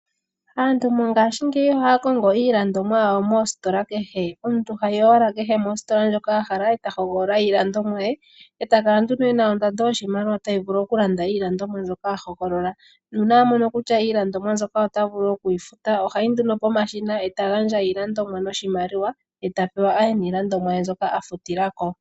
Aantu mongashingeyi ohaya kongo iilandomwa yawo moositola kehe. Omuntu hayi owala kehe mositola ndjoka a hala e ta hogolola iilandomwa ye, e ta kala nduno e na ondando yoshimaliwa tayi vulu okulanda iilandomwa mbyoka a hogolola, nuuna kutya iilandomwa mbyoka ota vulu oku yi futa ohayi nduno pomashina e ta gandja iilandomwa noshimaliwa, e ta pewa a ye niilandomwa ye mbyoka a futila ko.